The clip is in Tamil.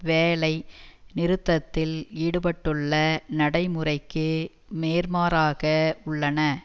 வேலை நிறுத்தத்தில் ஈடுபட்டுள்ள நடைமுறைக்கு நேர்மாறாக உள்ளன